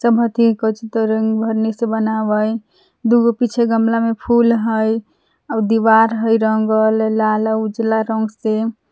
सब हथि कोची त रंगभरनी से बनवै दुगो पीछे गमला में फूल हइ आव दीवाल हइ रंगल लाल आर उजला रंग से।